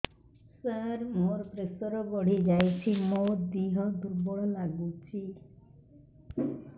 ସାର ମୋର ପ୍ରେସର ବଢ଼ିଯାଇଛି ମୋ ଦିହ ଦୁର୍ବଳ ଲାଗୁଚି